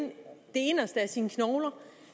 inderste af sine knogler